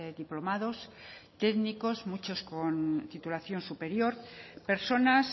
diplomados técnicos muchos con titulación superior personas